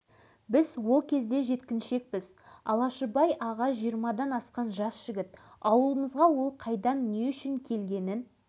сол кезде бойыма бір буырқанған бұла күш келіп құйылады мен аяқ астынан алашыбайға айналып бара жатамын